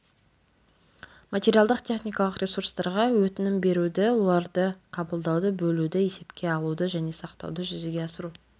материалдық-техникалық ресурстарға өтінім беруді оларды қабылдауды бөлуді есепке алуды және сақтауды жүзеге асыру